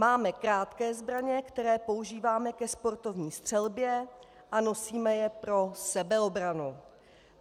Máme krátké zbraně, které používáme ke sportovní střelbě a nosíme je pro sebeobranu.